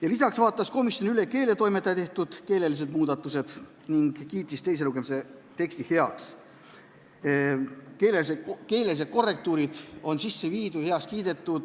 Komisjon vaatas üle ka keeletoimetaja tehtud keelelised muudatused ja kiitis teise lugemise teksti heaks.